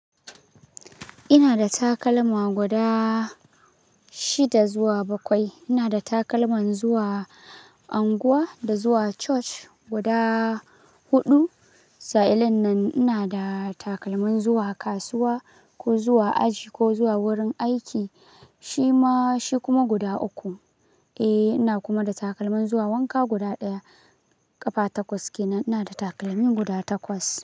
Ina da takalma guda shida zuwa bakwai. Ina da takalman zuwa unguwa da zuwa church guda huɗu. Sa'an nan ina da takalmin zuwa kasuwa ko zuwa aji ko zuwa wurin aiki. Shi ma, shi kuma guda uku. Eh ina kuma da takalmin zuwa wanka guda ɗaya. Ƙafa takwas ke, ina da takalmi guda takwas.